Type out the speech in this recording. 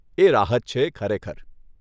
એ રાહત છે, ખરેખર.